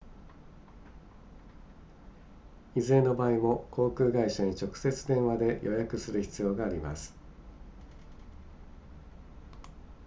いずれの場合も航空会社に直接電話で予約する必要があります